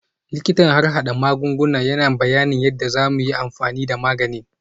Likitan harhada magunguna yana bayanin yadda za mu yi amfani da maganin